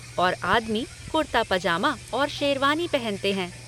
और आदमी, कुर्ता पजामा और शेरवानी पहनते हैं।